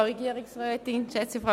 Kommissionssprecherin